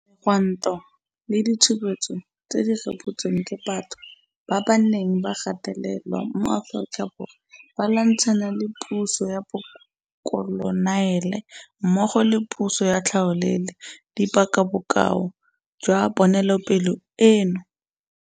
Megwanto le ditshupetso tse di rebotsweng ke batho ba ba neng ba gatelelwa mo Aforika Borwa ba lwantshana le puso ya bokoloniale mmogo le puso ya tlhaolele di paka bokao jwa ponelopele eno.